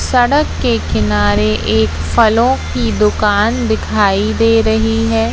सड़क के किनारे एक फलों की दुकान दिखाई दे रही है।